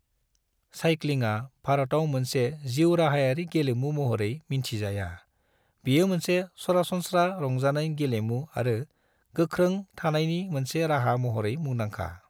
साइक्लिङा भारताव मोनसे जिउराहायारि गेलेमु महरै मिन्थि जाया, बेयो मोनसे सरासनस्रा रंजानाय गेलेमु आरो गोख्रों थानायनि मोनसे राहा महरै मुंदांखा।